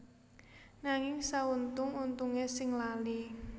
Nanging sauntung untunge sing lali